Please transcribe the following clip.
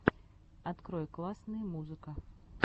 открой классные музыка